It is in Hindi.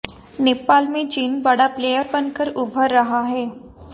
नेपाल में चीन बड़ा प्लेयर बनकर उभर रहा है